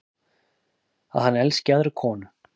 Að hann elski aðra konu.